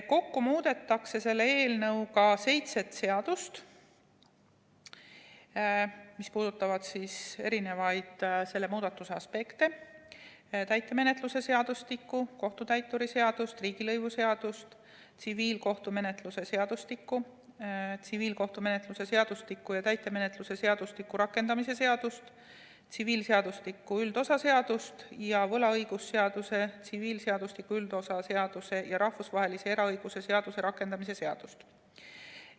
Kokku muudetakse selle eelnõuga seitset seadust, mis puudutavad selle muudatuse eri aspekte: täitemenetluse seadustikku, kohtutäituri seadust, riigilõivuseadust, tsiviilkohtumenetluse seadustikku, tsiviilkohtumenetluse seadustiku ja täitemenetluse seadustiku rakendamise seadust, tsiviilseadustiku üldosa seadust ning võlaõigusseaduse, tsiviilseadustiku üldosa seaduse ja rahvusvahelise eraõiguse seaduse rakendamise seadust.